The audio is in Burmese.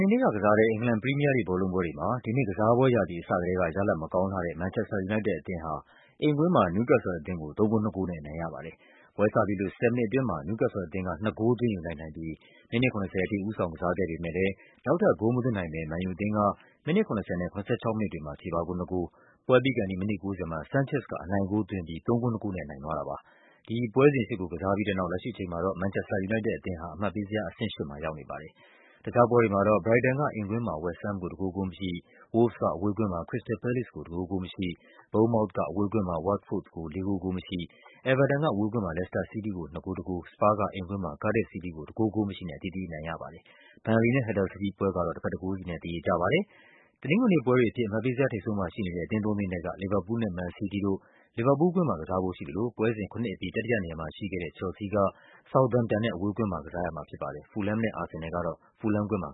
နေနေ့ကစားတဲ့ အင်္ဂလန် ပရီးမီးယားလိဂ် ဘောလုံးပွဲတွေမှာ ဒီနှစ်ကစားပွဲရာသီ အစကတည်းက ရလဒ်မကောင်းလှတဲ့ မန်ချက်စတာ ယူနိုက်တက်အသင်းဟာ အိမ်ကွင်းမှာ နယူးကက်ဆယ်လ်အသင်းကို ၃ ဂိုး ၂ ဂိုးနဲ့ အနိုင်ရပါတယ်။ ပွဲစပြီးလို့ ၁၀ မိနစ်အတွင်းမှာ နယူးကက်ဆယ်လ်အသင်းက ၂ ဂိုး သွင်းယူလိုက်နိုင်ပြီး မိနစ် ၇၀ အထိ ဦးဆောင်ကစားခဲ့ပေမဲ့ လည်း နောက်ထပ်ဂိုးမသွင်းနိုင်ဘဲ မန်ယူအသင်းက မိနစ် ၇၀ နဲ့ ၇၆ မိနစ်တွေမှာ ချေပဂိုးနှစ်ဂိုး၊ ပွဲပြီးခါနီး မိနစ် ၉၀ မှာ Sanchez က အနိုင်ဂိုးသွင်းယူူပြီး ၃ ဂိုး ၂ ဂိုးနဲ့ အနိုင်ရသွားတာဖြစ်ပါတယ်။ ဒီ ပွဲစဉ် ၈ ကို ကစားပြီးတဲ့နောက် လက်ရှိအချိန်မှာ မန်ချက်စတာ ယူနိုက်တက်အသင်းဟာ အမှတ်ပေးဇယား အဆင့် ၈ မှာ ရောက်နေပါတယ်။ တခြားပွဲတွေမှာတော့ ဘရိုက်တန်က အိမ်ကွင်းမှာ ဝက်စ်ဟမ်းကို ၁ ဂိုး ဂိုးမရှိ၊ Wolves က အဝေးကွင်းမှာ ခရစ္စတယ်လ် ပဲလေ့စ် ကို ၁ ဂိုး ဂိုးမရှိ၊ ဘုန်းန်မောက်သ်က အဝေးကွင်းမှာ ဝတ်တ်ဖို့သ်ကို ၄ ဂိုး ဂိုးမရှိ၊ အဲဗာတန်က အဝေးကွင်းမှာ လက်စတာစီးတီးကို ၂ ဂိုး ၁ ဂိုး၊ စပါးက အိမ်ကွင်းမှာ ကားဒစ်ဖ်စီးတီးကို ၁ ဂိုး ဂိုးမရှိနဲ့ အသီးသီး အနိုင်ရကြပါတယ်။ ဘန်လေနဲ့ ဟတ်ဒါစ်ဖီးလ်ဒ်ပွဲက တော့ တဘက် ၁ ဂိုးစီနဲ့ သရေကျပါတယ်။ တနင်္ဂနွေနေ့ပွဲတွေအဖြစ် အမှတ်ပေးဇယားထိပ်ဆုံးမှာရှိနေတဲ့ အသင်းသုံးသင်းထဲက လီဗာပူးလ်နဲ့ မန်စီးတီးတို့ လီဗာပူးလ်ကွင်း မှာ ကစားဖို့ရှိသလိုပွဲစဉ် ၇ အပြီး တတိယနေရာမှာရှိခဲ့တဲ့ ချယ်လ်ဆီးက ဆောက်သမ်ပ်တန်နဲ့ အဝေးကွင်းမှာ ကစားရမှာ ဖြစ်ပါတယ်။ ဖူလ်ဟမ်းမ်နဲ့ အာဆင်နယ်လ်တို့ကတော့ ဖူလ်ဟမ်းကွင်းမှာ